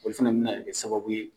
Olu fɛnɛ be na kɛ sababu ye